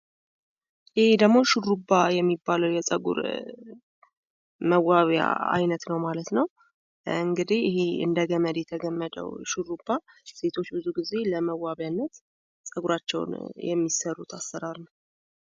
አሄ ደሞ ሹሩባ የሚባለዉ የፀጉር መዋቢያ አይነት ነዉ:: ይህ እንደ ገመድ የተገመደው ሹሩባ አይነት ሴቶች ብዙ ጊዜ ይሰሩታል::